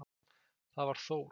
Það var Þór.